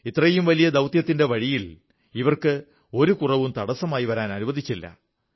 ഇത്രയും വലിയ ദൌത്യത്തിന്റെ വഴിയിൽ ഇവർ ഒരു കുറവും തടസ്സമായി വരാൻ അനുവദിച്ചില്ല